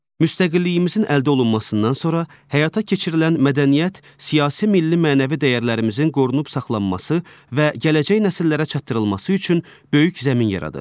Müstəqilliyimizin əldə olunmasından sonra həyata keçirilən mədəniyyət, siyasi milli mənəvi dəyərlərimizin qorunub saxlanması və gələcək nəsillərə çatdırılması üçün böyük zəmin yaradır.